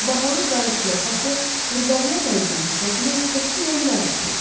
Bahalı qara şlyapası qurbağaya bənzəyən sifətinə qətiyyən yaraşmırdı.